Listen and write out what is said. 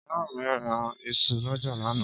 ìyá míí ra isu lọ́jà lánàá.